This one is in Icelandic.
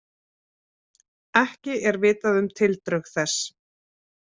Ekki er vitað um tildrög þess